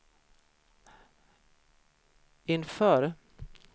inför